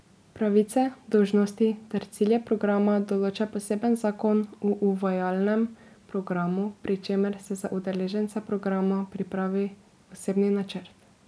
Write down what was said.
Pravice, dolžnosti ter cilje programa določa poseben zakon o uvajalnem programu, pri čemer se za udeležence programa pripravi osebni načrt.